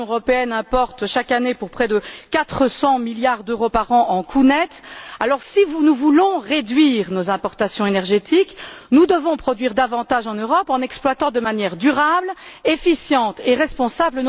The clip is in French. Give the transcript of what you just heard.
L'Union européenne importe chaque année pour près de 400 milliards d'euros en coûts nets, alors si nous voulons réduire nos importations énergétiques, nous devons produire davantage en Europe en exploitant nos ressources de manière durable, efficace et responsable.